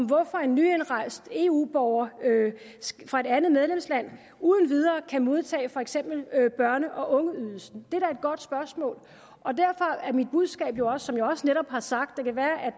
hvorfor en nyindrejst eu borger fra et andet medlemsland uden videre kan modtage for eksempel børne og ungeydelsen det godt spørgsmål og derfor er mit budskab jo også som jeg netop har sagt det kan være